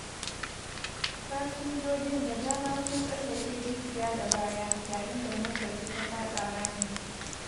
Fasinjojin da dama sun tsallake rijiya da baya yayin da motarsu ta faɗa rami.